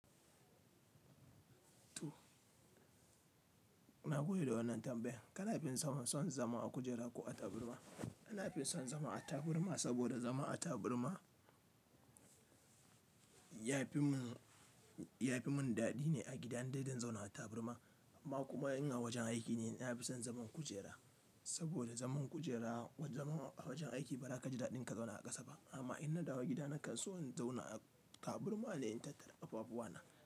Na goyi da wannan tambayan. Ka na fi son zama a kujera ko a taburma? Na fi son zama a taburma, saboda zama a taburma ya fi mun, ya fi mun daɗi ne a gida indai zan zauna a taburma. Amma kuma in a wajen aiki ne, na fi son zaman kujera. Saboda zaman kujera, zaman a wajen aiki ba za ka ji daɗi inka zauna a ƙasa ba. Amma in na dawo gida, na kan so in zauna a taburma ne in tattara ƙafafuwa na.